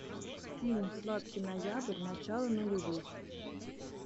фильм сладкий ноябрь начало нулевых